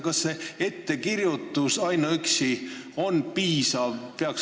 Kas ainuüksi ettekirjutus on piisav?